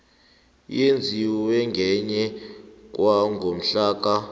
eyenziwe ngemva kwangomhlaka